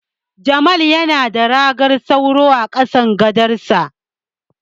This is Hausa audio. Jamal yana da ragar sauro a kasan gadonsa.